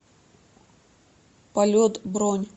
полет бронь